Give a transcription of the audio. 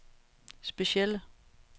specielle